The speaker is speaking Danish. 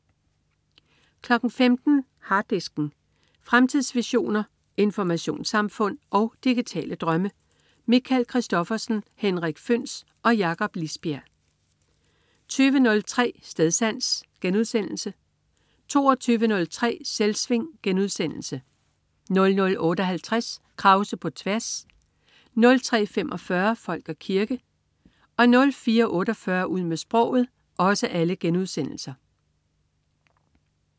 15.00 Harddisken. Fremtidsvisioner, informationssamfund og digitale drømme. Michael Christophersen, Henrik Føhns og Jakob Lisbjerg 20.03 Stedsans* 22.03 Selvsving* 00.58 Krause på tværs* 03.45 Folk og kirke* 04.48 Ud med sproget*